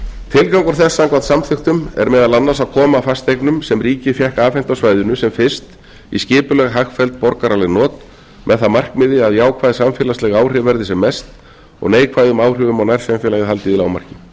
tilgangur þess samkvæmt samþykktum er meðal annars að koma fasteignum sem ríkið fékk afhent á svæðinu sem fyrst í skipuleg hagfelld borgaraleg not með það að markmiði að jákvæð samfélagsleg áhrif verði sem mest og neikvæðum áhrifum á nærsamfélagið haldið í lágmarki